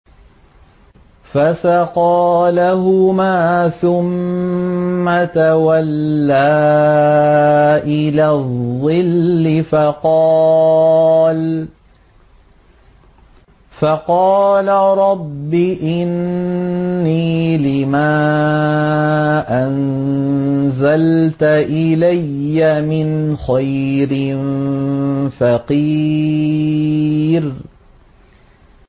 فَسَقَىٰ لَهُمَا ثُمَّ تَوَلَّىٰ إِلَى الظِّلِّ فَقَالَ رَبِّ إِنِّي لِمَا أَنزَلْتَ إِلَيَّ مِنْ خَيْرٍ فَقِيرٌ